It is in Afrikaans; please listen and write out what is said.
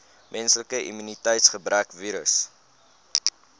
menslike immuniteitsgebrekvirus